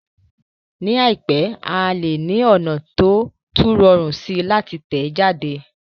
Ní àìpẹ́, a lè ní ọ̀nà tó tún rọrùn síi láti tẹ̀ jáde